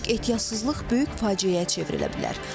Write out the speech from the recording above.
Kiçik ehtiyatsızlıq böyük faciəyə çevrilə bilər.